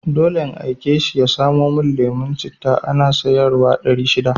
Dole in aike shi ya samo mun lemon citta, ana sayar wa ɗari shida